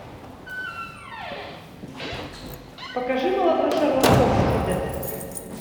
покажи молодой шерлок холмс х д